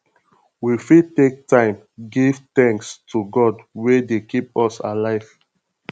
we fit take time take give thanks to god wey dey keep us alive